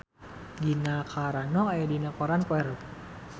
Gina Carano aya dina koran poe Rebo